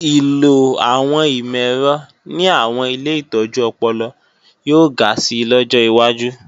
Ìlò àwọn ìmọ̀-ẹ̀rọ ní àwọn ilé ìtọ́jú ọpọlọ yóò ga si lọ́jọ́ wájú